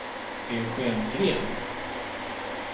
Eugen Green